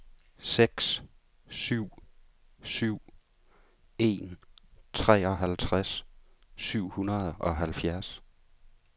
seks syv syv en treoghalvtreds syv hundrede og halvfjerds